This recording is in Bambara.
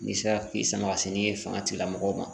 N'i sera k'i sama ka se ni fanga tigilamɔgɔw ma